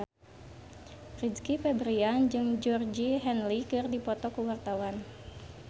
Rizky Febian jeung Georgie Henley keur dipoto ku wartawan